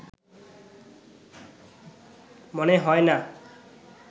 মনে হয় না